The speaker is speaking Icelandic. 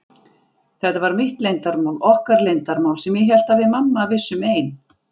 Þetta var mitt leyndarmál, okkar leyndarmál, sem ég hélt að við mamma vissum ein.